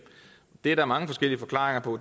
det er der mange forskellige forklaringer på